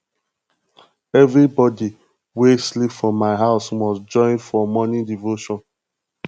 everybodi wey sleep for my house must join for di morning devotion